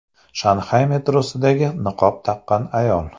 Shanxay metrosidagi niqob taqqan ayol.